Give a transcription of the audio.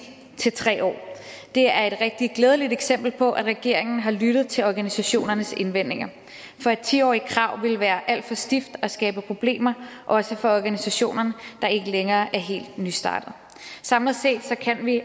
år til tre år det er et rigtig glædeligt eksempel på at regeringen har lyttet til organisationernes indvendinger for et ti årig t krav ville være alt for stift og skabe problemer også for organisationer der ikke længere er helt nystartede samlet set kan vi